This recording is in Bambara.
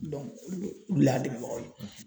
olu lo olu le y'a dɛmɛbagaw ye